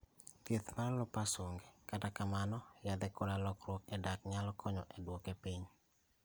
Thieth mar lupus onge, kata kamano yathe koda lokruok e dak nyalo konyo e duoke piny